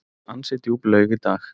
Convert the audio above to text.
Ansi djúp laug í dag.